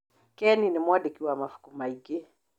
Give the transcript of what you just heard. Ken nĩ mwandĩki wa mabuku maingĩ.